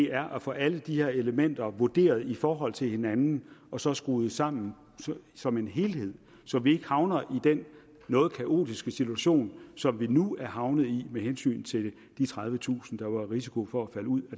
er at få alle de her elementer vurderet i forhold til hinanden og så skrue dem sammen som en helhed så vi ikke havner i den noget kaotiske situation som vi nu er havnet i med hensyn til de tredivetusind der var i risiko for at falde ud